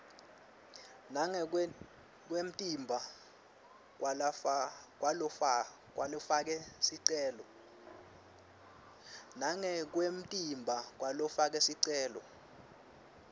nangekwemtimba kwalofake sicelo